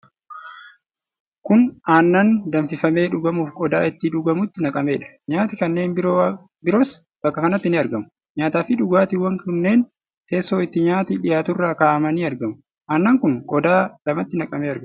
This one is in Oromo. Kun aannan danfifamee dhugamuuf qodaa ittiin dhugamutti naqameedha. Nyaati kanneen biroos bakka kanatti ni argamu. Nyaataa fi dhugaatiwwan kunneen teesso itti nyaati dhiyaaturra kaa'amanii argamu. Aannan kun qodaa lamatti naqamee argama.